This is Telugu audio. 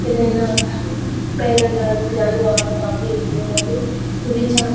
ఏదయినా పేరంటానికి వాడుతారు ఈ పూలని ఇవి చాల.